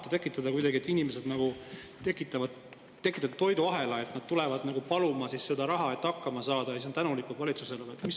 Kas te tahate, et inimesed tekitavad kuidagi mingi toiduahela: et nad tulevad paluma seda raha, et hakkama saada, ja siis on tänulikud valitsusele?